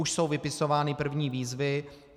Už jsou vypisovány první výzvy.